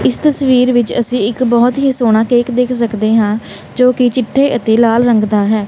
ਇੱਸ ਤਸਵੀਰ ਵਿੱਚ ਅੱਸੀ ਇੱਕ ਬਹੁਤ ਹੀ ਸੋਹਣਾ ਕੇਕ ਦੇਖ ਸਕਦੇ ਆਂ ਜੋਕਿ ਚਿੱਟੇ ਅਤੇ ਲਾਲ ਰੰਗ ਦਾ ਹੈ।